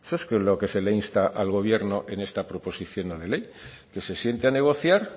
esto es lo que se le insta al gobierno en esta proposición no de ley que se siente a negociar